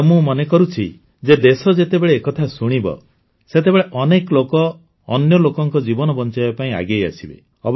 ଆଉ ମୁଁ ମନେ କରୁଛି ଯେ ଦେଶ ଯେତେବେଳେ ଏ କଥା ଶୁଣିବ ସେତେବେଳେ ଅନେକ ଲୋକ ଅନ୍ୟ ଲୋକଙ୍କ ଜୀବନ ବଂଚାଇବା ପାଇଁ ଆଗେଇ ଆସିବେ